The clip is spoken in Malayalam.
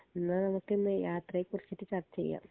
ഇന്നാ നമ്മുക്കിന്ന് യാത്രെ കുറിച്ചിട്ട് ചർച്ചയാം